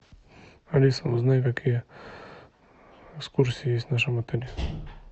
алиса узнай какие экскурсии есть в нашем отеле